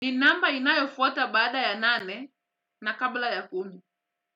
Ni namba inayofuata bada ya nane na kabla ya kumi.